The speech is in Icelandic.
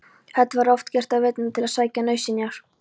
Það var oft gert á veturna til að sækja nauðsynjar.